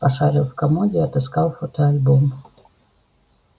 пошарил в комоде отыскал фотоальбом